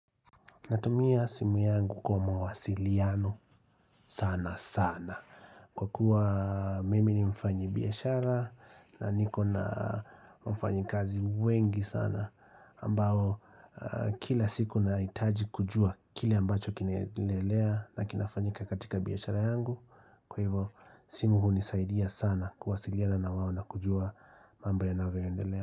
Natumia simu yangu kwa mawasiliano sana sana Kwa kuwa mimi ni mfanyibiashara na niko na wafanyakazi wengi sana ambao kila siku nahitaji kujua kile ambacho kinaendelea na kinafanyika katika biashara yangu Kwa hivo simu hunisaidia sana kuwasiliana na wao na kujua mamb yanavyoendelea.